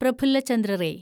Prafulla Chandra ray